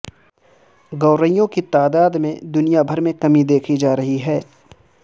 گوریوں کی تعداد میں دنیا بھر میں کمی دیکھی جا رہی ہے